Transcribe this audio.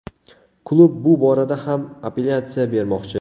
Klub bu borada ham apellyatsiya bermoqchi.